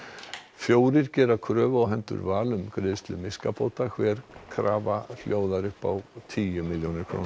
fjórir gera kröfur á hendur Val um greiðslu miskabóta hver krafa hljóðar upp á tíu milljónir króna